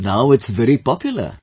so now its very popular